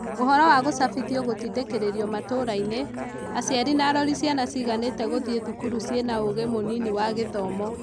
ũhoro wa gũcabithio gũtindĩkirĩrio matũrainĩ ; aciari na arori ciana ciganĩte gũthiĩ thukuru ciĩna ũgĩ mũnini wa gĩthomo.